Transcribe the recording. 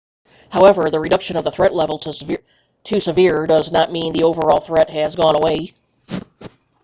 however the reduction of the threat level to severe does not mean the overall threat has gone away